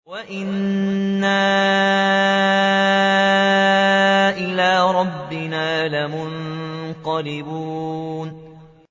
وَإِنَّا إِلَىٰ رَبِّنَا لَمُنقَلِبُونَ